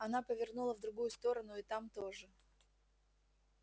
она повернула в другую сторону и там тоже